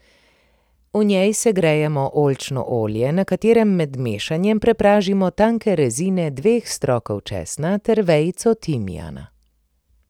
V njej segrejemo oljčno olje, na katerem med mešanjem prepražimo tanke rezine dveh strokov česna ter vejico timijana.